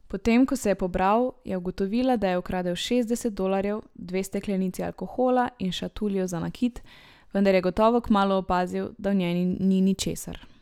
Potem ko se je pobral, je ugotovila, da je ukradel šestdeset dolarjev, dve steklenici alkohola in šatuljo za nakit, vendar je gotovo kmalu opazil, da v njej ni ničesar.